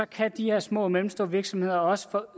kan de her små og mellemstore virksomheder også få